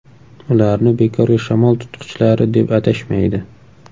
Ularni bekorga shamol tutqichlari deb atashmaydi.